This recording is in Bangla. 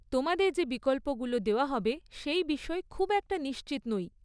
তোমাদের যে বিকল্পগুলো দেওয়া হবে সেই বিষয়ে খুব একটা নিশ্চিত নই।